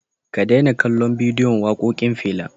Ka daina kallon bidiyon waƙoƙin Fela.